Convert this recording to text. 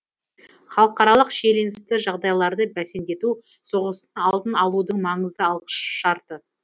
халықаралық шиеленісті жағдайларды бәсеңдету соғыстың алдын алудың маңызды алғышарты